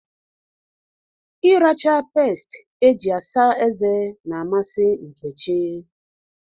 Ịracha peest eji-asa ezé n'amasị Nkechi.